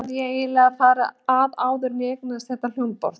Hvernig hafði ég eiginlega farið að áður en ég eignaðist þetta hljómborð?